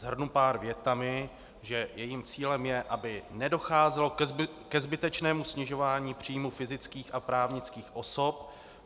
Shrnu pár větami, že jejím cílem je, aby nedocházelo ke zbytečnému snižování příjmu fyzických a právnických osob.